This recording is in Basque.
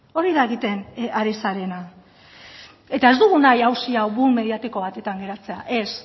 hori da egiten ari zarena ez dugu nahi auzi hau boom mediatiko batetan geratzea ez